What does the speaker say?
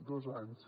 dos anys